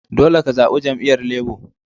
Dolle ka zaba jami'yyar Labour.